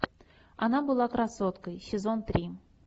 она была красоткой сезон три